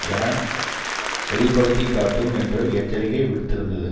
என வெளி படுத்தி காட்டும் என்று எச்சரிக்கை விடுத்திருந்தது